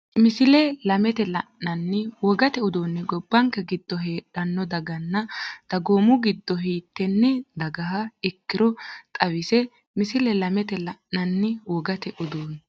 Misile lamete la’inanni wogate uduunni gobbanke giddo heedhanno daganna dagoomi giddo hiittenne dagaha ikkinoro xawisse Misile lamete la’inanni wogate uduunni.